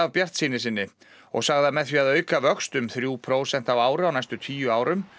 bjartsýni sinni og sagði að með því að auka vöxt um þrjú prósent á ári á næstu tíu árum